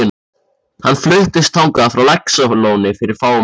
Hann fluttist þangað frá Laxalóni fyrir fáum árum.